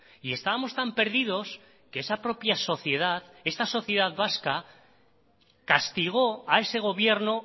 y estábamos tan perdidos que esa propia sociedad esta sociedad vasca castigó a ese gobierno